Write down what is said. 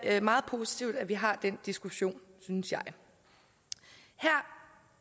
er meget positivt at vi har den diskussion synes jeg her